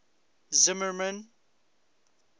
zimmermann